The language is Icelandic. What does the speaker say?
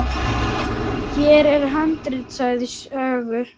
Hér er handrit að sögu.